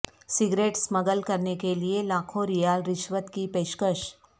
cigarette smuggle کرنے کے لیے لاکھوں ریال رشوت کی پیشکش